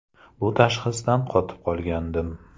Bu tashxisdan qotib qolgandim.